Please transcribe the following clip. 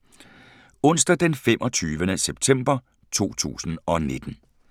Onsdag d. 25. september 2019